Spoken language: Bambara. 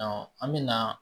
an bɛ na